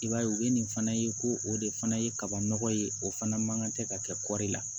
I b'a ye u bɛ nin fana ye ko o de fana ye kaba nɔgɔ ye o fana man kan tɛ ka kɛ kɔɔri la